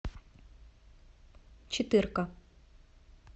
четыр ка